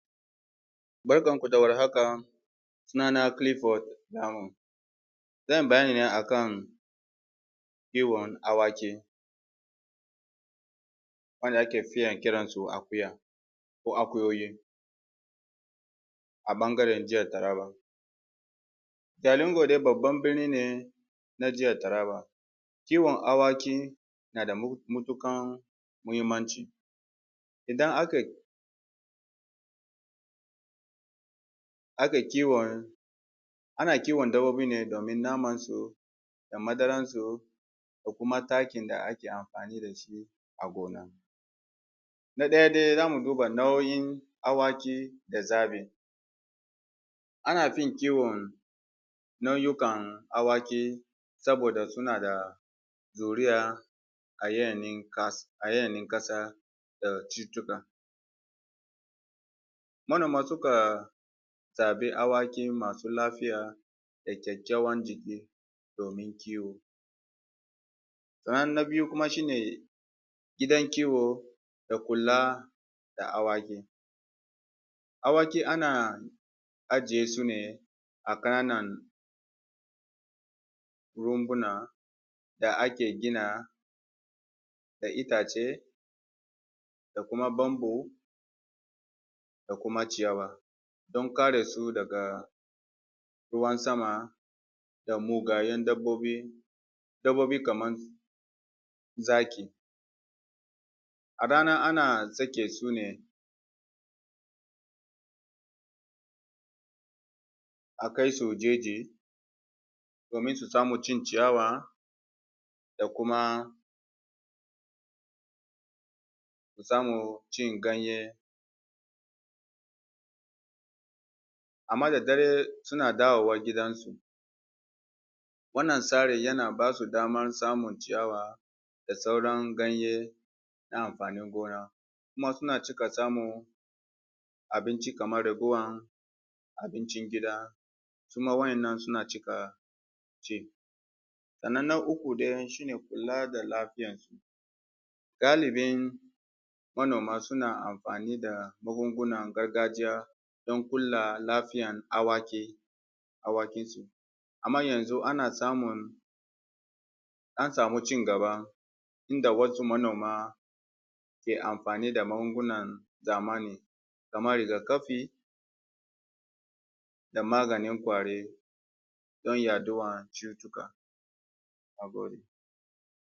Barkan ku da war haka Sunana Clifford Namu zan yi bayani ne akan kiwon awaki waɗanda aka fi kira da akuya ko akuyoyi ɓangaren Jihar Taraba Jalingo dai babban birni ne na Jihar Taraba Kiwon awaki na da matuƙar mahimmanci idan aka ake kiwon ana kiwon dabbobi ne domin naman su, madarar su da ko kuma takin da ake amfani da shi a gona Na ɗaya dai, zamu duba nau’in awaki da zaɓin Ana fi kiwon nau’ukan awaki saboda suna da juriyar yanayin ƙasa da cututtuka Manoma sukan zaɓi awaki masu lafiya da kyakkyawan jiki domin kiwo Na biyu kuma shine gidan kiwo da kula da awaki Awaki ana ajiye su ne a kananan rumbuna da ake gina da itace da kuma bamboo don kare su daga ruwan sama da mugayen dabbobi kamar zaki Da rana ana sake su ne a kai su waje domin su samu cin ciyawa da kuma su samu cin ganye amma da dare suna dawowa gidan su Wannan tsarin yana ba su damar samun ciyawa da sauran ganye na amfanin gona Kuma suna cika samun abinci kamar ragowar abincin gida waɗanda suma suna ci Na uku shine kula da lafiyar su Galibin manoma suna amfani da magungunan gargajiya don kula da lafiyar awakin awakin su, amma yanzu an samun an samu cigaba inda wasu manoma ci gaba inda wasu manoma ke amfani da magungunan zamani kamar rigakafi da maganin ƙwari don hana yaɗuwar cututtuka nagode